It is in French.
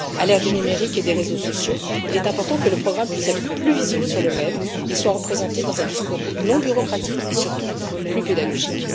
À l'ère du numérique et des réseaux sociaux, il est important que le programme puisse être plus visible sur le web et soit représenté dans un discours non bureaucratique et surtout plus pédagogique.